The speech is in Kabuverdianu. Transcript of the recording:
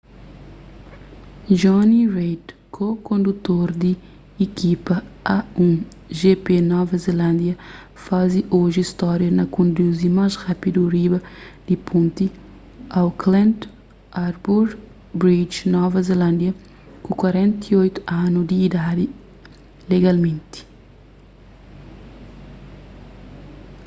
jonny reid ko-kondutor di ikipa a1gp nova zelándia faze oji stória na konduzi más rápidu riba di ponti auckland harbour bridge nova zelándia ku 48 anu di idadi legalmenti